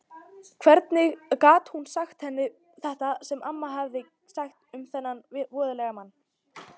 Hvernig gat hún sagt henni þetta sem amma hafði sagt um þennan voðalega mann?